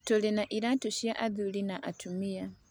Tũrĩ na iraatũ cia athuri na cia atumia.